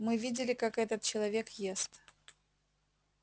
мы видели как этот человек ест